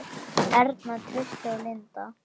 Erna, Trausti og Linda.